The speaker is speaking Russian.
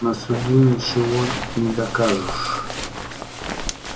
на суде ничего не докажешь